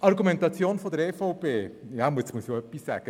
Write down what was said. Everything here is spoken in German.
Auch zur Argumentation der EVP muss ich etwas sagen.